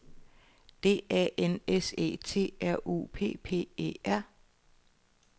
D A N S E T R U P P E R